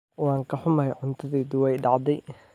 Waan ka xumahay, cuntadaydu way dhacday